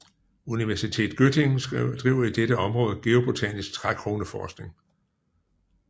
Universität Göttingen driver i dette område geobotanisk trækroneforskning